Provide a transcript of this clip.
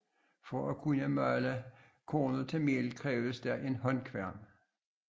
For at kunne male kornet til mel krævedes der en håndkværn